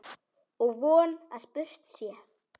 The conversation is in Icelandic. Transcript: Og von að spurt sé.